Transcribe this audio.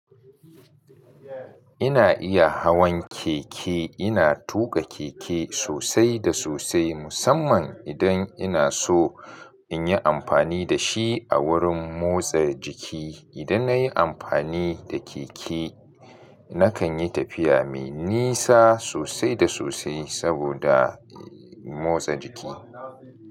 Ina iya hawan keke, ina tuƙa keke sosai da sosai musamman idan ina so in yi amfani da shi a wurin motsa jiki. Idan na yi amfani da keke, na kan yi tafiya mai nisa sosai da sosai saboda motsa jiki.